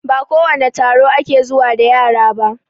Ba kowane taro ake zuwa da yara ba